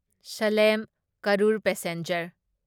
slam Karur passenger